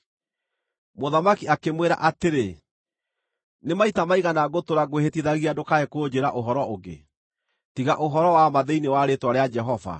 Mũthamaki akĩmwĩra atĩrĩ, “Nĩ maita maigana ngũtũũra ngwĩhĩtithagia ndũkae kũnjĩĩra ũhoro ũngĩ, tiga ũhoro wa ma thĩinĩ wa rĩĩtwa rĩa Jehova?”